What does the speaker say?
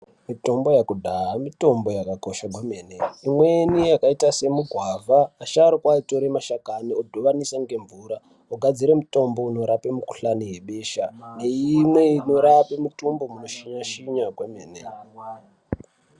Mitombo yekudhaya mitombo yakakosha kwemene, imweni yakaita semugwavha asharuka aitore mashakani odhivanisa ngemvura, ogadzire mutombo unorape mukuhlani yebesha neimwe inorape mitumbhu munoshinya shinya kwemene.